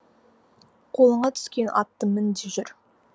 қолыңа түскен атты мін де жүр